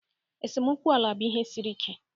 Esemokwu ala bụ ihe siri ike.